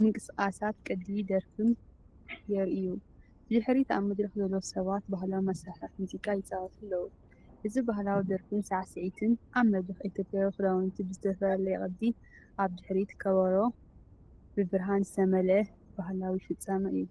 ምንቅስቓሳትን ቅዲ ደርፍን ይረኣዩ። ብድሕሪት ኣብ መድረኽ ዘለዉ ሰባት ባህላዊ መሳርሒታትሙዚቃ ይጻወቱ ኣለዉ። እዚ ባህላዊ ደርፍን ሳዕስዒትን ኣብ መድረኽ፡ኢትዮጵያዊ ክዳውንቲ ብዝተፈላለየ ቅዲ፡ኣብ ድሕሪት ከበሮ። ብብርሃን ዝተመልአ ባህላዊ ፍጻመ እዩ።